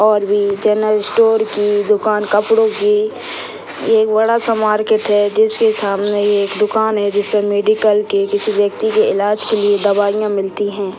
और भी general store की दुकान कपड़ो की ये बड़ा सा मार्किट है जिसके सामने एक दुकान है जिस पर मेडिकल के किसी व्यक्ति के इलाज के लिए दवाइयां मिलती है।